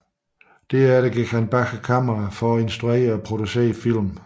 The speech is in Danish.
Derefter gik han bag kameraet for at instruere og producere film